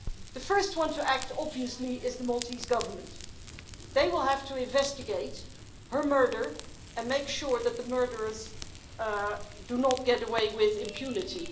The first one to act, obviously, is the Maltese Government they will have to investigate her murder and make sure that the murderers do not get away with impunity.